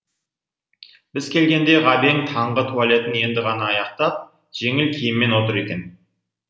біз келгенде ғабең таңғы туалетін енді ғана аяқтап жеңіл киіммен отыр екен